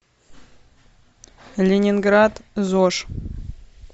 ленинград зож